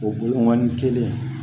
O boani kelen